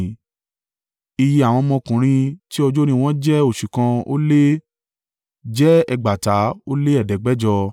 Iye àwọn ọmọkùnrin tí ọjọ́ orí wọ́n jẹ́ oṣù kan ó lé, jẹ́ ẹgbàata ó lé ẹ̀ẹ́dẹ́gbẹ̀jọ (7,500).